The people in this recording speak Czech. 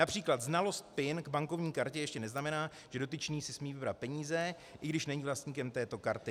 Například znalost PIN k bankovní kartě ještě neznamená, že dotyčný si smí vybrat peníze, i když není vlastníkem této karty.